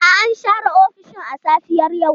A'a, an share ofishin a safiyar yau.